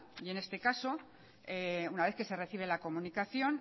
y en este caso una vez que se recibe la comunicación